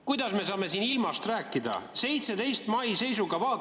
Kuidas me saame siin ilmast rääkida, 17. mai seisuga?